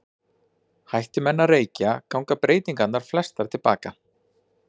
Hætti menn að reykja ganga breytingarnar flestar til baka.